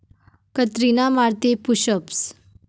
कतरिना मारतेय 'push ups'